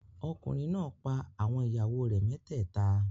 Ọkùnrin náà pa àwọn ìyàwó rẹ̀ mẹ́tẹ́ẹ̀ta.